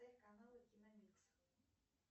каналы киномикс